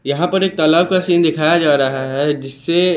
यहां पर एक तालाब का सीन दिखाया जा रहा है जिससे--